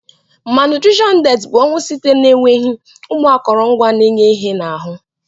Malnutrition death bu onwụ site na enweghi ụmụ akọrọngwa na enye ihe na ahụ.